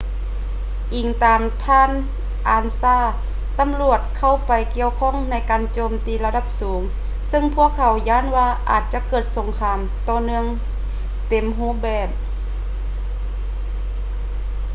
ອີງຕາມທ່ານ ອານຊາ ansa ຕຳຫຼວດເຂົ້າໄປກ່ຽວຂ້ອງໃນການໂຈມຕີລະດັບສູງ ຊຶ່ງພວກເຂົາຢ້ານວ່າອາດຈະເກີດສົງຄາມຕໍ່ເນື່ອງເຕັມຮູບແບບ